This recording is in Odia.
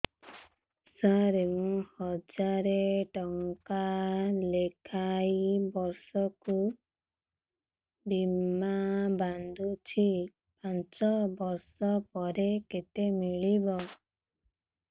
ସାର ମୁଁ ହଜାରେ ଟଂକା ଲେଖାଏଁ ବର୍ଷକୁ ବୀମା ବାଂଧୁଛି ପାଞ୍ଚ ବର୍ଷ ପରେ କେତେ ମିଳିବ